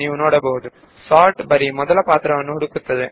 sort ಎಂಬುದು ಸಂಖ್ಯೆಯ ಮೊದಲ ಅಂಕೆಯನ್ನು ಮಾತ್ರ ಪರಿಗಣಿಸುತ್ತಿದೆ